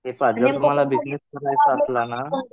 हे पहा, जर तुम्हाला बिजनेस करायचं असला ना